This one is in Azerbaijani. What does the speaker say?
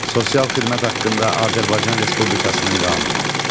Sosial xidmət haqqında Azərbaycan Respublikasının qanunu.